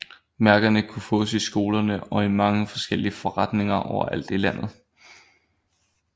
Mærkerne kunne fås i skolerne og i mange forskellige forretninger overalt i landet